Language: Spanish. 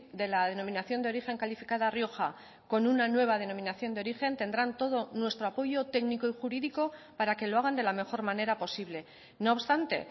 de la denominación de origen calificada rioja con una nueva denominación de origen tendrán todo nuestro apoyo técnico y jurídico para que lo hagan de la mejor manera posible no obstante